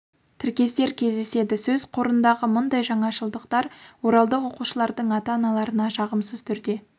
тіркестер кездеседі сөз қорындағы мұндай жаңашылдықтар оралдық оқушылардың ата-аналарына жағымсыз түрде